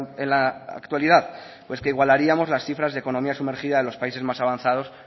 en la actualidad pues que igualaríamos las cifras de economía sumergida de los países más avanzados